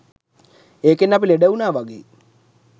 ඒකෙන් අපි ලෙඩ වුණා වගෙයි